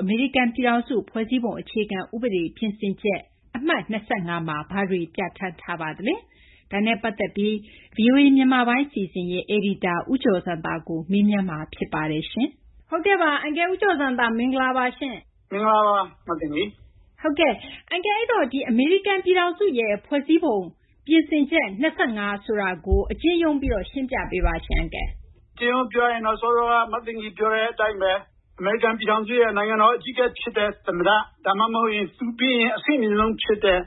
အမေရိကန်ပြည်ထောင်စုရဲ့ ဖွဲ့စည်းပုံဥပဒေ ပြင်ဆင်ချက် ၂၅ ဆိုတာကို အကျဉ်းချုံးပြီး ရှင်းပြပါ။ ဦးကျော်ဇံသာ - “အကျဉ်းချုံးပြီး ပြောရရင်တော့ အမေရိကန်ပြည်ထောင်စုရဲ့ နိုင်ငံတော်အကြီးအကဲဖြစ်တဲ့ သမ္မတ၊ ဒါမှမဟုတ် သူပြီးရင် အဆင့်အမြင့်ဆုံးဖြစ်တဲ့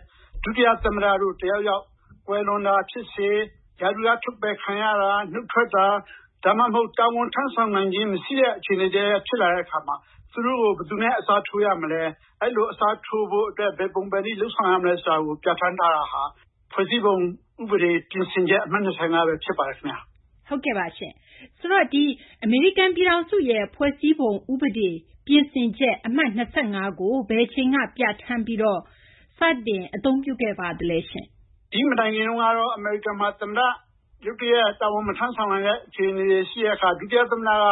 ဒုတိယသမ္မတတို့ တယောက်ယောက် ကွယ်လွန်တာဖြစ်စေ၊ ရာထူးက ထုတ်ပယ်ခံရတာ၊ နုတ်ထွက်တာ၊ ဒါမှမဟုတ် တာဝန်ထမ်းဆောင်နိုင်ခြင်း မရှိတဲ့ အခြေအနေတရပ်ရပ် ဖြစ်လာတဲ့အခါမှာ သူတို့ကို ဘယ်သူနဲ့ အစားထိုးရမလဲ၊ အဲဒီလို အစားထိုးဖို့အတွက် ဘယ်ပုံဘယ်နည်း လုပ်ဆောင်ရမလဲ ဆိုတာကို ပြဋ္ဌာန်းထားတာဟာ ဖွဲ့စည်းပုံဥပဒေ ပြင်ဆင်ချက် အမှတ် ၂၅ ပဲ ဖြစ်ပါတယ်။” မသိင်္ဂီထိုက် - အမေရိကန်ပြည်ထောင်စု ဖွဲ့စည်းပုံ အခြေခံဥပဒေ ပြင်ဆင်ချက် အမှတ် ၂၅ ကို ဘယ်အချိန်က ပြဋ္ဌာန်းပြီး စတင်အသုံးပြုခဲ့သလဲ။ ဦးကျော်ဇံသာ - “ဒီမတိုင်ခင်ကတော့ အမေရိကန်မှာ သမ္မတ ရုတ်တရက် တာဝန် မထမ်းဆောင်နိုင်တဲ့ ရှိတဲ့အခါ ဒုတိယသမ္မတက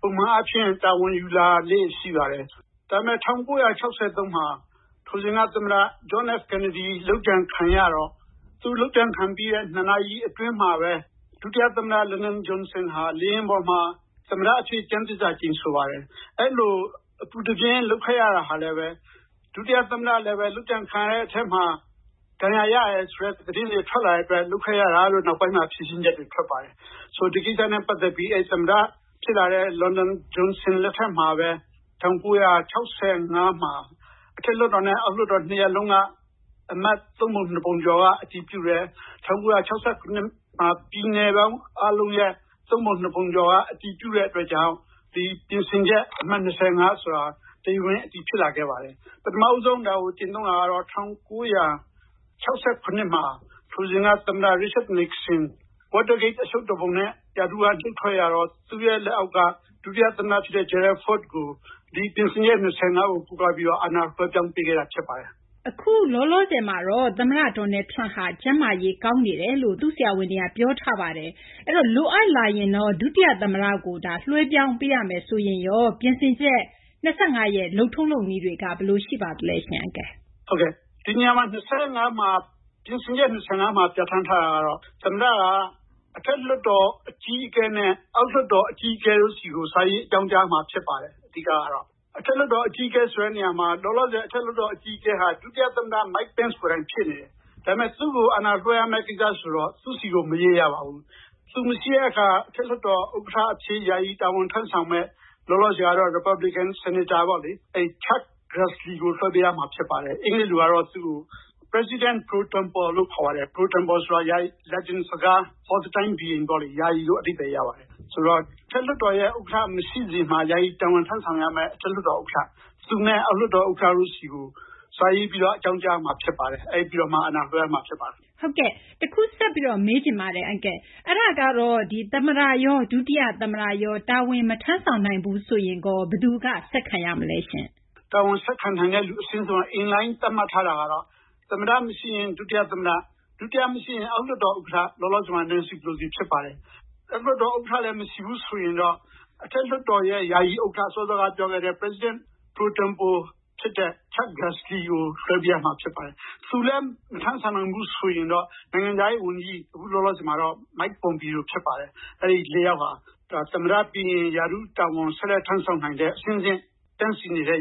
ပုံမှန်အားဖြင့် တာဝန်ယူလာတာလေးတွေ ရှိပါတယ်။ ဒါပေမယ့် ၁၉၆၃ မှာ အဲဒီတုန်းက သမ္မတ John F. Kennedy လုပ်ကြံခံရတော့ သူလုပ်ကြံခံရပြီးတဲ့ ၂ နာရီအတွင်းမှာပဲ ဒုတိယသမ္မတ Lyndon Johnson ဟာ လေယာဉ်ပေါ်မှာ သမ္မတအဖြစ် ကျမ်းသစ္စာ ကျိန်ဆိုပါတယ်။ အဲဒီလို အပူတပြင်း လုပ်ခဲ့ရတာဟာလည်းပဲ ဒုတိယသမ္မတလည်း လုပ်ကြံခံရတဲ့အထဲမှာ ဒဏ်ရာရတယ်ဆိုတဲ့ သတင်းတွေ ထွက်လာတဲ့အတွက် လုပ်ခဲ့ရတာလို့ နောက်ပိုင်းမှာ ဖြေရှင်းချက်တွေ ထွက်ပါတယ်။ “ဒီကိစ္စနဲ့ ပတ်သက်ပြီး သမ္မတဖြစ်လာတဲ့ Lyndon Johnson လက်ထက်မှာပဲ ၁၉၆၅ မှာ အထက်လွှတ်တော်နဲ့ အောက်လွှတ်တော် နှစ်ရပ်လုံးက အမတ် သုံးပုံနှစ်ပုံကျော်က အတည်ပြုတယ်။ ၁၉၆၇ မှာ ပြည်နယ်အားလုံးရဲ့ သုံးပုံနှစ်ပုံကျော်က အတည်ပြုတဲ့အတွက်ကြောင့် ဒီ ပြင်ဆင်ချက် အမှတ် ၂၅ ဆိုတာ တရားဝင် အတည်ဖြစ်လာခဲ့ပါတယ်။ ပထမဦးဆုံး ဒါကို ကျင့်သုံးတာကတော့ ၁၉၆၇ မှာ ထိုစဉ်က သမ္မတ Richard Nixon, Watergate အရှုပ်တော်ပုံနဲ့ ရာထူးက နုတ်ထွက်ရတော့ သူ့ရဲ့လက်အောက်က ဒုတိယသမ္မတဖြစ်တဲ့ Gerald Ford ကို ဒီပြင်ဆင်ချက် ၂၅ ကို ကိုးကားပြီးတော့ အာဏာလွှဲပြောင်းပေးခဲ့တာ ဖြစ်ပါတယ်။” မသိင်္ဂီထိုက် - အခုလောလောဆယ်မှာတော့ သမ္မတ Donald Trump က ကျန်းမာရေး ကောင်းနေတယ်လို့ သူ့ဆရာဝန်တွေက ပြောပါတယ်။ လိုအပ်လာရင်တော့ ဒုတိယသမ္မတကို လွှဲပြောင်းပေးရမယ်ဆိုရင်ရော ပြင်ဆင်ချက် ၂၅ ရဲ့ လုပ်ထုံးလုပ်နည်းတွေက ဘယ်လိုရှိပါသလဲ။ ဦးကျော်ဇံသာ - “ဒီနေရာမှာ ပြင်ဆင်ချက် ၂၅ မှာ ပြဋ္ဌာန်းထားတာကတော့ သမ္မတက အထက်လွှတ်တော် အကြီးအကဲနဲ့ အောက်လွှတ်တော် အကြီးအကဲတို့ဆီကို စာရေး အကြောင်းကြားရမှာ ဖြစ်ပါတယ် အဓိကကတော့။ အထက်လွှတ်တော် အကြီးအကဲ ဆိုတဲ့နေရာမှာ လောလောဆယ် အထက်လွှတ်တော် အကြီးအကဲက ဒုတိယသမ္မတ Mike Pence ကိုယ်တိုင် ဖြစ်နေတယ်။ ဒါပေမယ့် သူ့ကို အာဏာလွှဲရမယ့်ကိစ္စဆိုတော့ သူ့ဆီကို မရေးကြပါဘူး။ သူမရှိတဲ့အခါ အထက်လွှတ်တော် ဥက္ကဋ္ဌအဖြစ် ယာယီ တာဝန်ထမ်းဆောင်မယ့်၊ လောလောဆယ်ကတော့ ရီပတ်ဘလစ်ကန် ဆီနိတ်တာ Chuck Grassley ကို လွှဲပေးရမှာ ဖြစ်ပါတယ်။ အင်္ဂလိပ်လိုကတော့ သူ့ကို President pro tempore လို့ခေါ်ပါတယ်။ pro tempore ဆိုတာ Latin စကား၊ for the time being ပေါ့လေ၊ ယာယီလို့ အဓိပ္ပာယ်ရပါတယ်။ ဆိုတော့ အထက်လွှတ်တော်ရဲ့ ဥက္ကဋ္ဌ မရှိစဉ်မှာ ယာယီ တာဝန်ထမ်းဆောင်ရမယ့် အထက်လွှတ်တော် ဥက္ကဋ္ဌ၊ သူနဲ့ အောက်လွှတ်တော်ဥက္ကဋ္ဌတို့ဆီကို စာရေးပြီး အကြောင်းကြားရမှာ ဖြစ်ပါတယ်။ အဲဒါပြီးတော့မှ အာဏာလွှဲရမှာ ဖြစ်ပါတယ်။” မသိင်္ဂီထိုက် - တခု ဆက်ပြီးမေးချင်တယ်။ သမ္မတရော ဒုတိယသမ္မတရော တာဝန် မထမ်းနိုင်ဘူးဆိုရင် ဘယ်သူက ဆက်ခံရမလဲ။ ဦးကျော်ဇံသာ - “တာဝန်ဆက်ခံနိုင်မယ့်သူ အရှင်းဆုံး In-Line သတ်မှတ်ထားတာကတော့ သမ္မတမရှိရင် ဒုတိယသမ္မတ၊ ဒုတိယမရှိရင် အောက်လွှတ်တော်ဥက္ကဋ္ဌ၊ လောလောဆယ်မှာ Nancy Pelosi ဖြစ်ပါတယ်။ အောက်လွှတ်တော်ဥက္ကဋ္ဌလည်း မရှိဘူးဆိုရင်တော့ အထက်လွှတ်တော်ရဲ့ ယာယီဥက္ကဋ္ဌ၊ President pro tempore ဖြစ်တဲ့ Chuck Grassley ကို လွှဲပေးရမှာ ဖြစ်ပါတယ်။ သူလည်း မထမ်းဆောင်နိုင်ဘူး ဆိုရင်တော့ နိုင်ငံခြားရေးဝန်ကြီး၊ ခုလောလောဆယ်မှာတော့ Mike Pompeo ဖြစ်ပါတယ်။ အဲဒီလေးယောက်ဟာ သမ္မတပြီးရင် ရာထူးတာဝန် ဆက်လက်ထမ်းဆောင်နိုင်တဲ့ အဆင့်ဆင့် တန်းစီနေတဲ့